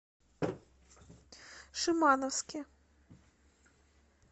шимановске